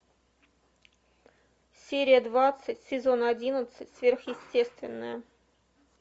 серия двадцать сезон одиннадцать сверхъестественное